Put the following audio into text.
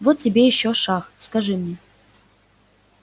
вот тебе ещё шах скажи мне